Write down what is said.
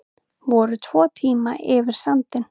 Voru tvo tíma yfir sandinn